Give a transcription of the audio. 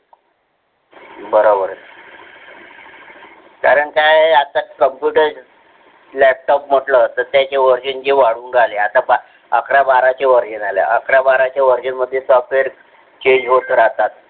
बरोबर आहे. कारण काय आहे आता computer laptop म्हटलं त्याच्यामध्ये किती version आले. अकरा बाराचे version आले अकरा बाराचे version मध्ये Software change होत राहतात.